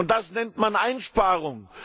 Und das nennt man Einsparung!